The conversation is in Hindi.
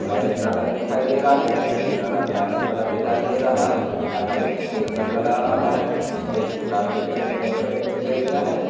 मैरिज गार्डन दिखाई दे रहा है मैरिज गार्डन काफी बड़ा दिखाई दे रहा है यहाँ पर एक स्टेज नजर आ रहा है स्टेज को काफी अच्छे से डेकोरेट किया गया है।